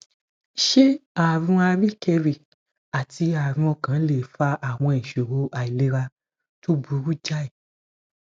ṣé àrùn àríkèrí àti àrùn ọkàn lè fa àwọn ìṣòro àìlera tó burú jáì